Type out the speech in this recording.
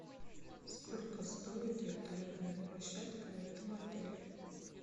сколько стоит вертолетная площадка в этом отеле